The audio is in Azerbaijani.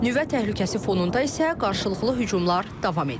Nüvə təhlükəsi fonunda isə qarşılıqlı hücumlar davam edir.